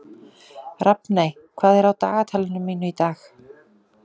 Rafney, hvað er á dagatalinu mínu í dag?